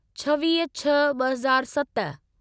छवीह छह ॿ हज़ार सत